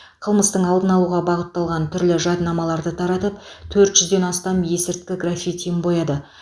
қылмыстың алдын алуға бағытталған түрлі жадынамаларды таратып төрт жүзден астам есірткі граффитиін бояды